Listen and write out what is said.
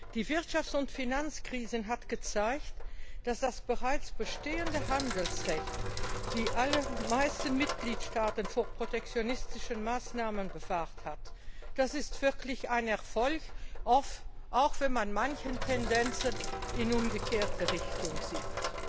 Die Wirtschafts und Finanzkrise hat gezeigt, dass das bereits bestehende Handelsrecht die allermeisten Mitgliedstaaten vor protektionistischen Maßnahmen bewahrt hat. Das ist wirklich ein Erfolg, auch wenn man manche Tendenzen in die umgekehrte Richtung sieht.